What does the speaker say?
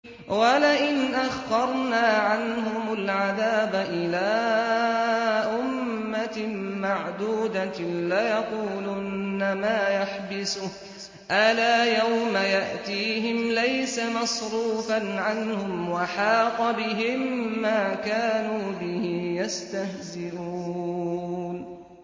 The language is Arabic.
وَلَئِنْ أَخَّرْنَا عَنْهُمُ الْعَذَابَ إِلَىٰ أُمَّةٍ مَّعْدُودَةٍ لَّيَقُولُنَّ مَا يَحْبِسُهُ ۗ أَلَا يَوْمَ يَأْتِيهِمْ لَيْسَ مَصْرُوفًا عَنْهُمْ وَحَاقَ بِهِم مَّا كَانُوا بِهِ يَسْتَهْزِئُونَ